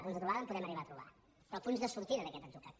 punts de trobada en podem arribar a trobar però punts de sortida d’aquest atzucac